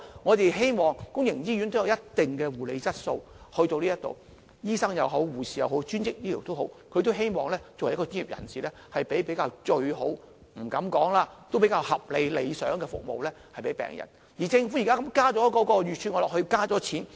我們希望公營醫院也有一定的護理質素，不管是醫生、護士或專職醫療，他們作為一名專業人士，即使不敢說是最好的，但也希望為病人提供比較合理和理想的服務。